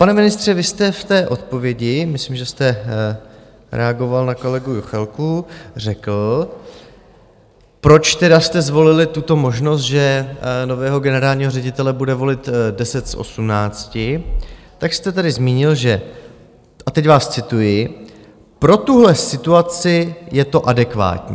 Pane ministře, vy jste v té odpovědi, myslím, že jste reagoval na kolegu Juchelku, řekl, proč teda jste zvolili tuto možnost, že nového generálního ředitele bude volit 10 z 18, tak jste tady zmínil, že - a teď vás cituji: "Pro tuhle situaci je to adekvátní."